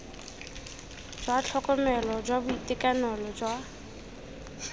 jwa tlhokomelo jwa boitekanelo jwa